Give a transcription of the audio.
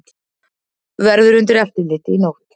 Verður undir eftirliti í nótt